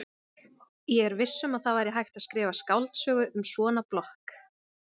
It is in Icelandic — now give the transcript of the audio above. Ég er viss um að það væri hægt að skrifa skáldsögu um svona blokk.